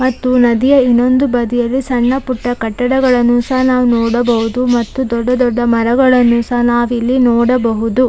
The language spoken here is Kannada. ಮತ್ತು ನದಿಯ ಇನ್ನೊಂದು ಬದಿಯಲ್ಲಿ ಸಣ್ಣಪುಟ್ಟ ಕಟ್ಟಡಗಳನ್ನು ಸಹ ನಾವು ನೋಡಬಹುದು ಮತ್ತು ದೊಡ್ಡದೊಡ್ಡ ಮರಗಳನ್ನು ಸಹ ನಾವಿಲ್ಲಿ ನೋಡಬಹುದು.